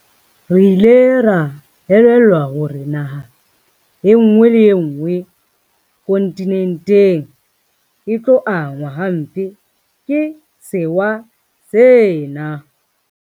Re ile ra elellwa hore naha enngwe le enngwe kontinenteng e tlo angwa hampe ke sewa sena.